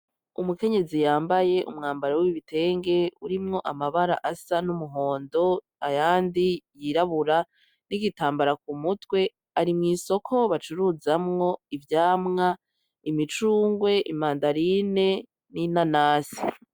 Umukenyezi yambaye umwambaro w’ibitenge urimwo amabara asa n’umuhondo ayandi yirabura n’igitambara ku mutwe arimw’isoko bacuruzamwo ivyamwa, imicungwe, imandarine, n’inanasi.